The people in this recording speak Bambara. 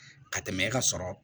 Ka tɛmɛ e ka sɔrɔ